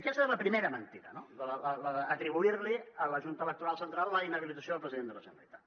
aquesta és la primera mentida no la d’atribuir a la junta electoral central la inhabilitació del president de la generalitat